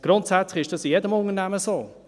Grundsätzlich ist dies in jedem Unternehmen so: